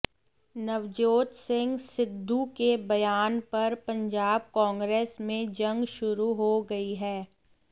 नवजोत सिंह सिद्धू के बयान पर पंजाब कांग्रेस में जंग शुरू हो गई है